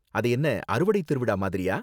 அது என்ன அறுவடை திருவிழா மாதிரியா?